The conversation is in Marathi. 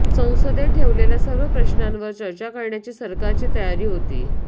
संसदेत ठेवलेल्या सर्व प्रश्नावर चर्चा करण्याची सरकारची तयारी होती